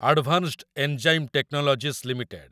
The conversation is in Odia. advanced enzyme technologies limited